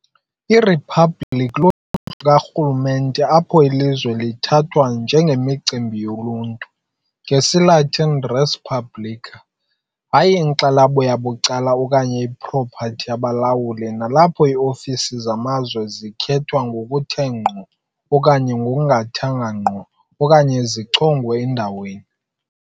Iriphabliki luhlobo lukarhulumente apho ilizwe lithathwa "njengemicimbi yoluntu", ngesiLatin, "res publica", hayi inkxalabo yabucala okanye ipropathi yabalawuli, nalapho iiofisi zamazwe zikhethwa ngokuthe ngqo okanye ngokungathanga ngqo okanye zichongwe endaweni